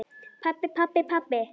Pabbi, pabbi, pabbi.